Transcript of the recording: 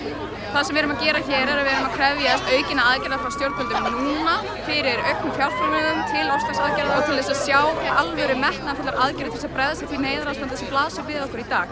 það sem við erum að gera hér er að við erum að krefjast aukinna aðgerða frá stjórnvöldum núna fyrir auknum fjárframlögum til loftslagsaðgerða og til þess að sjá alvöru metnaðarfullar aðgerðir til að bregðast við því neyðarástandi sem blasir við okkur í dag